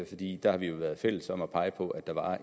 fordi der har vi jo været fælles om at pege på at der var